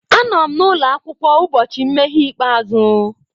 Anọ m n'ụlọ akwụkwọ ụbọchị nmeghe ikpeazụ.